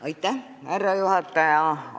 Austatud härra juhataja!